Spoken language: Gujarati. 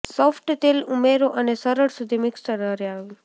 સોફ્ટ તેલ ઉમેરો અને સરળ સુધી મિક્સર હરાવ્યું